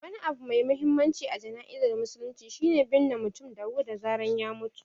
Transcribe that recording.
Wani abu mai mahimmanci a jana'izar musulunci shi ne binne mutum da wuri da zarar ya mutu.